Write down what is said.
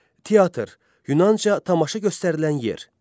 Teatr Yunanca tamaşa göstərilən yer.